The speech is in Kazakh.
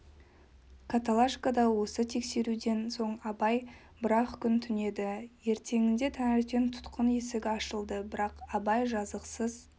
каталашкада осы тексеруден соң абай бір-ақ күн түнеді ертеңінде таңертең тұтқын есігі ашылды бірақ абай жазықсыз